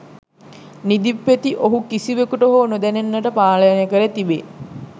නිදි පෙති ඔහු කිසිවකුට හෝ නොදැනෙන්නට පානය කර තිබේ